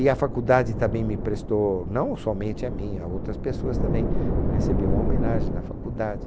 E a faculdade também me prestou, não somente a mim, a outras pessoas também, recebi uma homenagem da faculdade.